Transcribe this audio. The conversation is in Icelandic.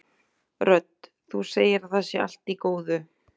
Rödd: Þú segir að það sé allt í góðu?